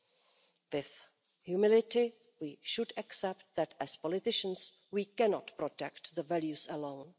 With humility we should accept that, as politicians, we cannot protect the values alone.